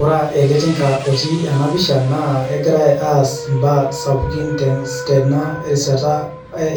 Ore ele tinka otii enapisha nakegirai aas imbaa sapukin tena rishata